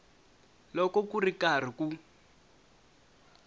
loko ku ri karhi ku